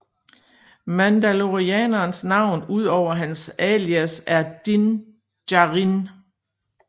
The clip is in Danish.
Mandalorianerens navn udover hans alias er Din Djarin